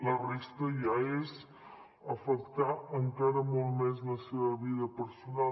la resta ja és afectar encara molt més la seva vida personal